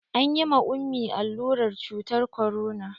An yi ma ummi allurar cutar korona.